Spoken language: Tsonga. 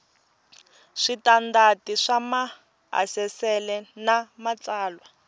switandati swa maasesele na matsalwa